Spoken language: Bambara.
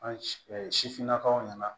An si sifinnakaw ɲɛna